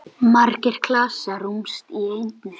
Margir klasar rúmast í einni.